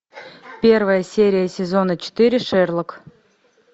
первая серия сезона четыре шерлок